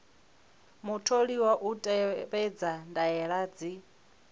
mutholiwa u tevhedza ndaela dzi